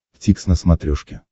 дтикс на смотрешке